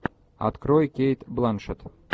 открой кейт бланшетт